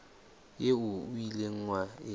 eo o ileng wa e